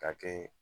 K'a kɛ